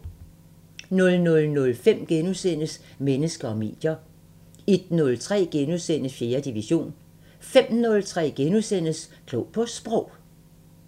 00:05: Mennesker og medier * 01:03: 4. division * 05:03: Klog på Sprog *